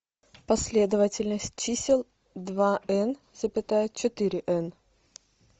последовательность чисел два н запятая четыре н